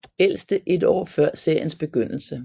Ældste et år før seriens begyndelse